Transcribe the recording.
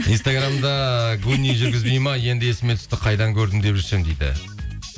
инстаграмда гуни жүргізбейді ме енді есіме түсті қайдан көрдім деп жүрсем дейді